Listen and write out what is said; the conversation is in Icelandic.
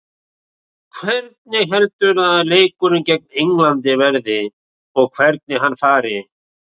Hvernig heldurðu að leikurinn gegn Englandi verði og hvernig hann fari?